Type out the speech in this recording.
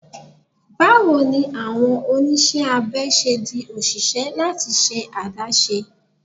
Bawo ni awọn oniṣẹ abẹ ṣe di oṣiṣẹ lati ṣe adaṣe?m John